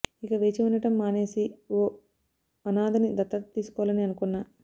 ఇక వేచి ఉండటం మానేసి ఓ అనాథని దత్తత తీసుకోవాలని అనుకున్నా